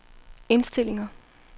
indstillinger